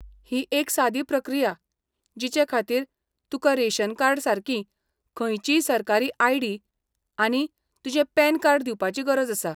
ही एक सादी प्रक्रिया, जिचे खातीर तुकां रेशन कार्डा सारकी खंयचीय सरकारी आयडी, आनी तुजें पॅन कार्ड दिवपाची गरज आसा.